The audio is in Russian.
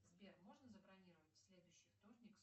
сбер можно забронировать в следующий вторник